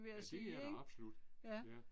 Ja det er der absolut. Ja